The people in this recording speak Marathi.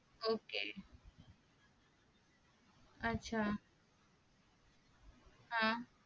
ok आच्छा हा